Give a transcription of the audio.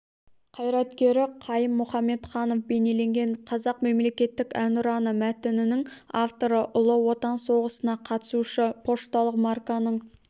қайраткері қайым мұхамедханов бейнеленген қазақ мемлекеттік әнұраны мәтінінің авторы ұлы отан соғысына қатысушы пошталық марканың